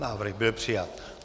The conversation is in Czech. Návrh byl přijat.